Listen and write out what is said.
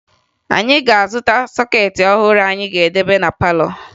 Anyị ga-azụta sọkeetị ọhụrụ anyị ga-edebe na palọ